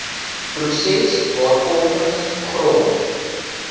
proses waarvolgens grond